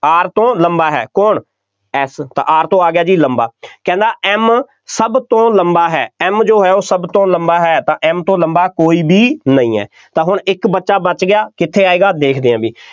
R ਤੋਂ ਲੰਬਾ ਹੈ, ਕੌਣ, F ਤਾਂ R ਤੋਂ ਆ ਗਿਆ ਜੀ ਲੰਬਾ, ਕਹਿੰਦਾ M ਸਭ ਤੋਂ ਲੰਬਾ ਹੈ M ਜੋ ਹੈ ਉਹ ਸਭ ਤੋਂ ਲੰਬਾ ਹੈ, ਤਾਂ M ਤੋਂ ਲੰਬਾ ਕੋਈ ਵੀ ਨਹੀਂ ਹੈ, ਤਾਂ ਹੁਣ ਇੱਕ ਬੱਚਾ ਬਚ ਗਿਆ, ਕਿੱਥੇ ਆਏਗਾ, ਦੇਖਦੇ ਹਾਂ ਬਈ,